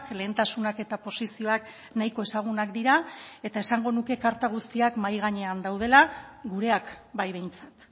lehentasunak eta posizioak nahiko ezagunak dira eta esango nuke karta guztiak mahai gainean daudela gureak bai behintzat